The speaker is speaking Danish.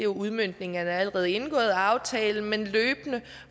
udmøntningen af en allerede indgået aftale men løbende